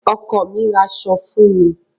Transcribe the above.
Ọkọ mi ra àṣọ fún mi.